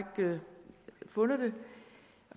ikke fundet